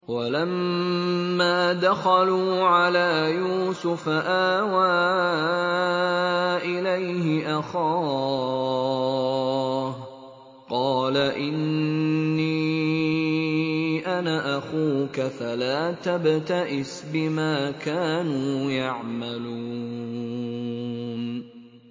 وَلَمَّا دَخَلُوا عَلَىٰ يُوسُفَ آوَىٰ إِلَيْهِ أَخَاهُ ۖ قَالَ إِنِّي أَنَا أَخُوكَ فَلَا تَبْتَئِسْ بِمَا كَانُوا يَعْمَلُونَ